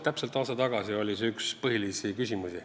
Täpselt aasta tagasi oli see üks põhilisi küsimusi.